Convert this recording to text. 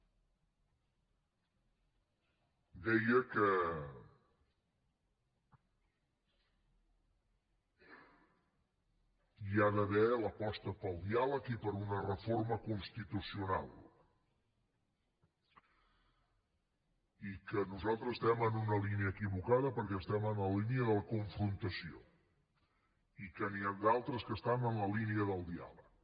deia que hi ha d’haver l’aposta pel diàleg i per una reforma constitucional i que nosaltres estem en una línia equivocada perquè estem en la línia de la confrontació i que n’hi ha d’altres que estan en la línia del diàleg